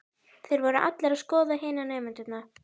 Þeir voru allir að skoða hina nemendurna.